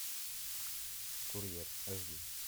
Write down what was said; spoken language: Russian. курьер аш ди